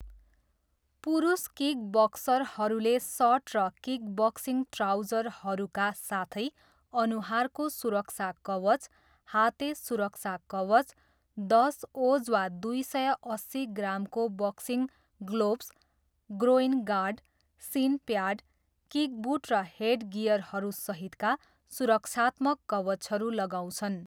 पुरुष किकबक्सरहरूले सर्ट र किकबक्सिङ ट्राउजरहरूका साथै अनुहारको सुरक्षा कवच, हाते सुरक्षा कवच, दस ओज वा दुई सय अस्सी ग्रामको boxing gloves, groin guard, shin pad, kick boot र हेडगियरहरू सहितका सुरक्षात्मक कवचहरू लगाउँछन्।